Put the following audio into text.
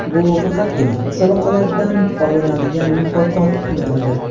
Bu faqatgina musobaqalardan olinadigan mukofot pullaridir.